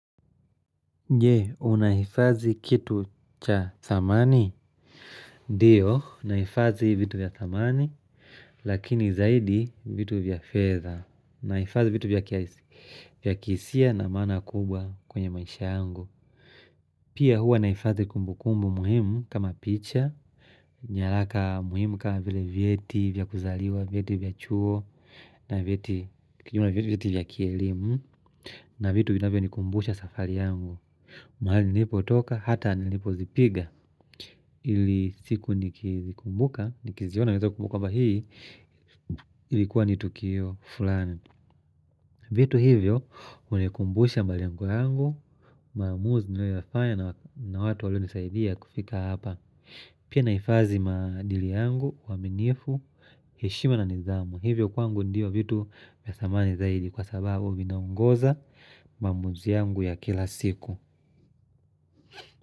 Je, unahifadhi kitu cha thamani? Ndio, nahifadhi vitu vya thamani, lakini zaidi vitu vya fedha. Nahifadhi vitu vya kihisia na maana kubwa kwenye maisha yangu. Pia huwa nahifadhi kumbukumbu muhimu kama picha, nyalaka muhimu kama vile vyeti, vya kuzaliwa, vyeti vya chuo, na vyeti vya kielimu, na vitu vinavyo nikumbusha safari yangu. Mahali nilipotoka hata nilipozipiga ili siku nikizikumbuka nikiziona naeza kumbuka kwamba hii ilikuwa ni tukio fulani vitu hivyo hunikumbusha malengoyangu maamuzi ninayoyafanya na watu walio nisaidia kufika hapa pia naifadhi maadili yangu uaminifu, heshima na nidhamu hivyo kwangu ndiyo vitu vya thamani zaidi kwa sababu vina ongoza mamuzi yangu ya kila siku.